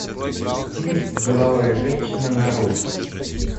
фильм деловая женщина нарой